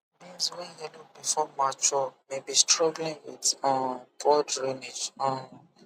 beans wey yellow before mature may be struggling with um poor drainage um